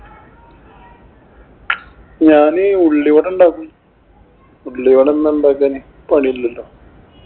ഞാനേ ഉള്ളിവട ഉണ്ടാക്കും. ഉള്ളിവട ഒന്നും ഉണ്ടാക്കാനേ പണിയില്ലല്ലോ.